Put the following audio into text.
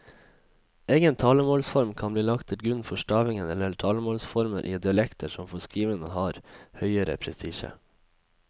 Egen talemålsform kan bli lagt til grunn for stavingen eller talemålsformer i dialekter som for skriveren har høgere prestisje.